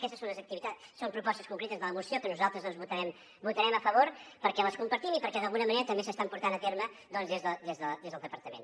aquestes són propostes concretes de la moció que nosaltres votarem a favor perquè les compartim i perquè d’alguna manera també s’estan portant a terme des del departament